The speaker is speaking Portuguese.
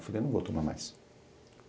Eu falei, não vou tomar mais.